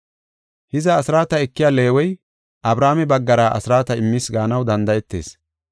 Hiza, asraata ekiya Leewey, Abrahaame baggara asraata immis gaanaw danda7etees.